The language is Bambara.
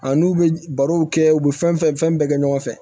A n'u bɛ barow kɛ u be fɛn fɛn fɛn bɛɛ kɛ ɲɔgɔn fɛ